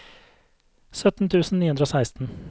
sytten tusen ni hundre og seksten